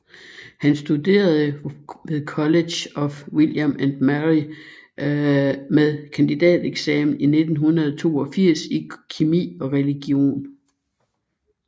Han studerede ved College of William and Mary med kandidateksamen 1982 i kemi og religion